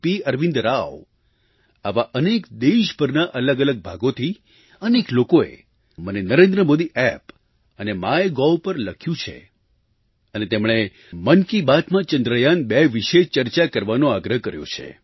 અરવિંદરાવ આવા અનેક દેશભરના અલગઅલગ ભાગોથી અનેક લોકોએ મને નરેન્દ્રમોદી App અને માયગોવ પર લખ્યું છે અને તેમણે મન કી બાતમાં ચંદ્રયાન2 વિશે ચર્ચા કરવાનો આગ્રહ કર્યો છે